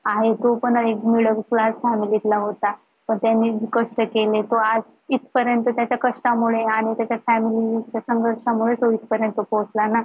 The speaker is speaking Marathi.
आहे तो पण एक middle class family तला होता पण त्यांनी खूप कष्ट केले तो आज इथं पर्यंत तो त्याच्या कष्टामुळे आणि त्याच्या family त्याचांमुळे तो इथपर्यंत पोचला ना